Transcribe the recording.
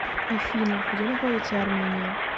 афина где находиться армения